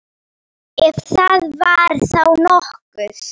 Ef það var þá nokkuð.